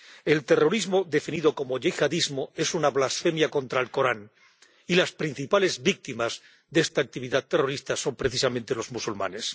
El terrorismo definido como yihadismo es una blasfemia contra el Corán y las principales víctimas de esta actividad terrorista son precisamente los musulmanes.